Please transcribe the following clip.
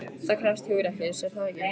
Það krefst hugrekkis, er það ekki?